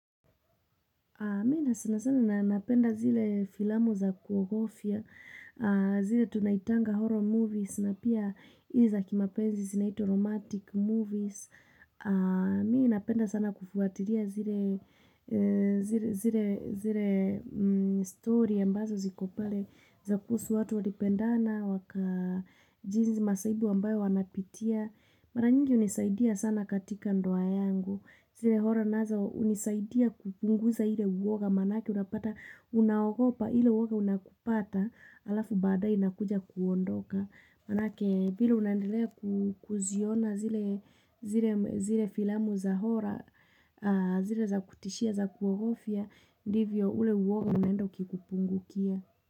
Mimi sana sana napenda zile filamu za kuogofia, zile tunaitanga horror movies na pia izi za kimapenzi zinaitwa romantic movies. Mi napenda sana kufuatiria zile story ambazo ziko pale za kuhusu watu walipendana, waka jinsi masaibu ambayo wanapitia. Mara nyingi unisaidia sana katika ndoa yangu. Zile horror nazo unisaidia kupunguza ile uwoga. Manake unapata unaogopa ile uwoga unakupata alafu baadae inakuja kuondoka. Manake vile unaendelea kuziona zile filamu za horror, zile za kutishia za kuogofia, ndivyo ule uwoga unaenda ukikupungukia.